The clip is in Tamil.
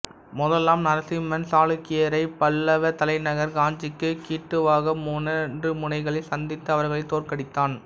முதலாம் நரசிம்மன் சாளுக்கியரை பல்லவத் தலைநகர் காஞ்சிக்குக் கிட்டவாக மூன்று முனைகளில் சந்தித்து அவர்களைத் தோற்கடித்தான்